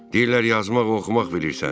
Deyirlər yazmaq, oxumaq bilirsən.